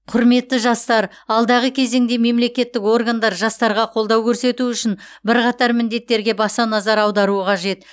құрметті жастар алдағы кезеңде мемлекеттік органдар жастарға қолдау көрсету үшін бірқатар міндеттерге баса назар аударуы қажет